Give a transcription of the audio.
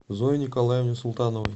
зое николаевне султановой